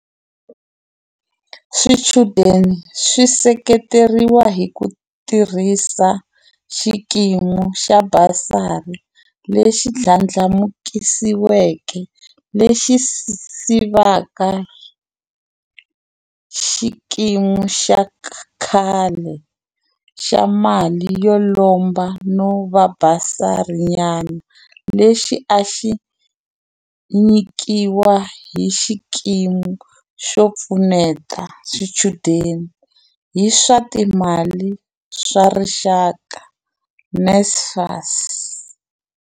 Swichudeni swi seketeriwa hi ku tirhisa xikimi xa basari lexi ndlandlamuxiweke lexi sivaka xikimi xa khale xa mali yo lomba no va basarinyana lexi a xi nyikiwa hi Xikimi xo Pfuneta Swichudeni hi swa Timali xa Rixaka, NSFAS.